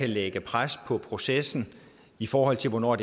lægge pres på processen i forhold til hvornår